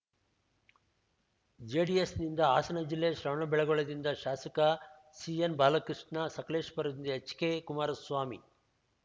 ಜೆಡಿಎಸ್‌ನಿಂದ ಹಾಸನ ಜಿಲ್ಲೆ ಶ್ರವಣಬೆಳಗೊಳದಿಂದ ಶಾಸಕ ಸಿಎನ್‌ ಬಾಲಕೃಷ್ಣ ಸಕಲೇಶಪುರದಿಂದ ಎಚ್‌ಕೆ ಕುಮಾರಸ್ವಾಮಿ